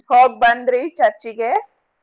ಹೋಗ ಬಂದ್ರಿ church ಗೆ?